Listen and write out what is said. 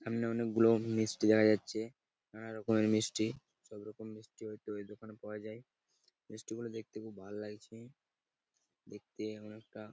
সামনে অনেকগুলো মিষ্টি দেখা যাচ্ছে নানা রকমের মিষ্টি সব রকম মিষ্টি হয়তো ওই দোকানে পাওয়া যায় মিষ্টি গুলো দেখতে খুব ভালো লাগছে দেখতে কেমন একটা--